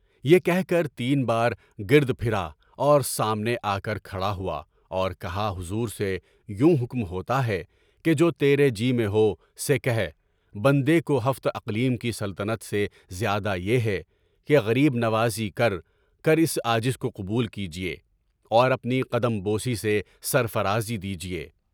یہ کہ کر تین پار گر پھر اور سامنے آکر کھڑا ہوا اور کہا حضور سے یوں حکم ہوتا ہے کہ جو تیرے جی میں ہو وہ کہہ، بندے کو ہفت اقلیم کی سلطنت سے زیادہ پیارا ہے کہ غریب نوازی کر کے اس عاجز کو قبول کیجیے اور اپنی قدم بوسی سے سر فرازی دیجیے۔